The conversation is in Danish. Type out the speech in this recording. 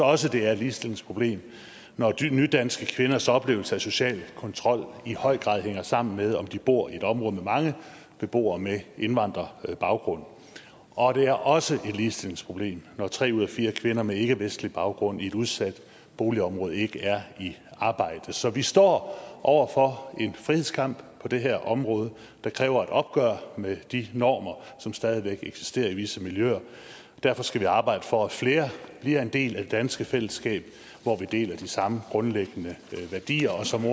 også det er et ligestillingsproblem når nydanske kvinders oplevelse af social kontrol i høj grad hænger sammen med om de bor i et område med mange beboere med indvandrerbaggrund og det er også et ligestillingsproblem når tre ud af fire kvinder med ikkevestlig baggrund i et udsat boligområde ikke er i arbejde så vi står over for en frihedskamp på det her område der kræver et opgør med de normer som stadig væk eksisterer i visse miljøer derfor skal vi arbejde for at flere bliver en del af det danske fællesskab hvor vi deler de samme grundlæggende værdier og som